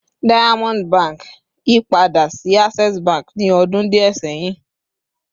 Diamond Bank yipada si Access Bank ni ọdun diẹ sẹhin